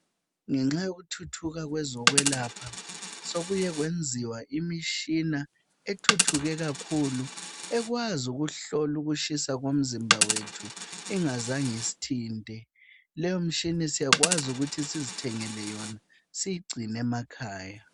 Ngenxa yokuthuthuka kwezokwelapha sokuye kwenziwa imishina ethuthuke kakhulu, ekwazi ukuhlola ukutshisa kwemzimba yethu engazange isithinthe. Leyi mishina siyakwazi ukuthi sizithengele yona, siyigcine emakhaya